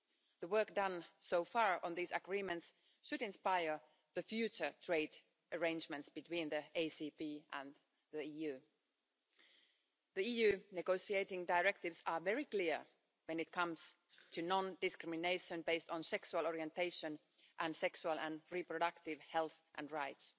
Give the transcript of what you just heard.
The work done so far on these agreements should inspire the future trade arrangements between the ACP and the EU. The EU negotiating directives are very clear when it comes to non-discrimination based on sexual orientation and sexual and reproductive health and rights.